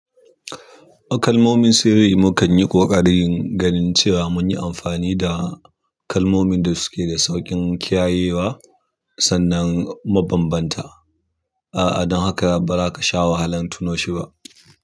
A kalmomin sirri mukan yi ƙoƙarin ganin cewa mun yi amfani da kalmomin da suke da sauƙin kiyayewa sannan mabambanta. A'a, don haka ba za ka sha wahalan tuno shi ba.